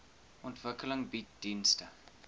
ontwikkeling bied dienste